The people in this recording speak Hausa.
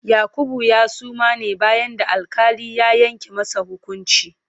Yakubu ya suma ne bayan da alƙali ya yanke masa hukunci.